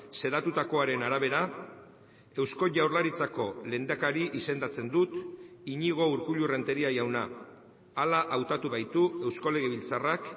xedatutakoaren arabera eusko jaurlaritzako lehendakari izendatzen dut iñigo urkullu renteria jauna hala hautatu gaitu eusko legebiltzarrak